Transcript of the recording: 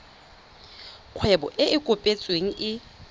kgwebo e e kopetsweng e